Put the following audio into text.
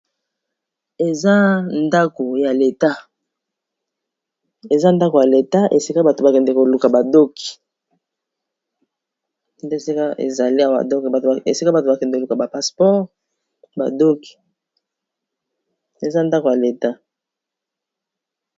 Eza ndako ya leta esika batu bakendaka koluka ba doc nde esika ezali Awa esika batu bakendaka koluka ba passeport ba doc eza ndaku ya leta.